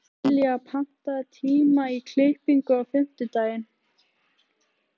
Dilja, pantaðu tíma í klippingu á fimmtudaginn.